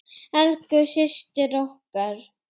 Elsku systir okkar.